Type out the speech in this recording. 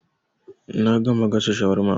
Na gama gasa shawarman